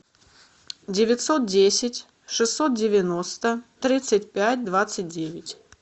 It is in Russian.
девятьсот десять шестьсот девяносто тридцать пять двадцать девять